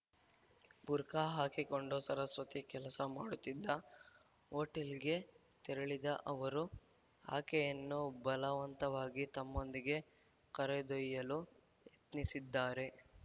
ಬುರ್ಖಾ ಹಾಕಿಕೊಂಡು ಸರಸ್ವತಿ ಕೆಲಸ ಮಾಡುತ್ತಿದ್ದ ಹೋಟೆಲ್‌ಗೆ ತೆರಳಿದ ಅವರು ಆಕೆಯನ್ನು ಬಲವಂತವಾಗಿ ತಮ್ಮೊಂದಿಗೆ ಕರೆದೊಯ್ಯಲು ಯತ್ನಿಸಿದ್ದಾರೆ